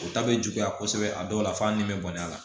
O ta bɛ juguya kosɛbɛ a dɔw la f'a nimo a la